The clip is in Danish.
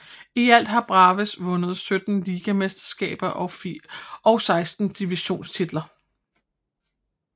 I alt har Braves vundet 17 ligamesterskaber og 16 divisionstitler